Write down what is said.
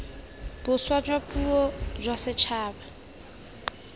boswa jwa puo jwa setšhaba